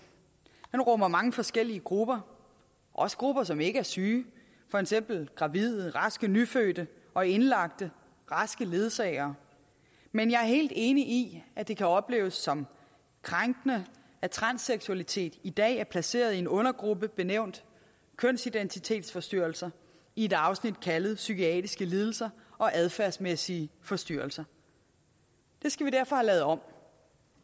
den rummer mange forskellige grupper også grupper som ikke er syge for eksempel gravide raske nyfødte og indlagte raske ledsagere men jeg er helt enig i at det kan opleves som krænkende at transseksualitet i dag er placeret i en undergruppe benævnt kønsidentitetsforstyrrelser i et afsnit kaldet psykiatriske lidelser og adfærdsmæssige forstyrrelser det skal vi derfor have lavet om